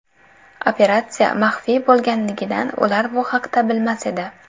Operatsiya maxfiy bo‘lganligidan ular bu haqda bilmas edi.